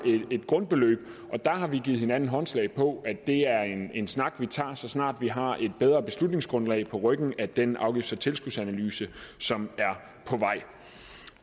et grundbeløb der har vi givet hinanden håndslag på at det er en snak vi tager så snart vi har et bedre beslutningsgrundlag på ryggen af den afgifts og tilskudsanalyse som